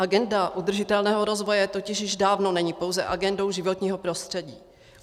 Agenda udržitelného rozvoje totiž již dávno není pouze agendou životního prostředí.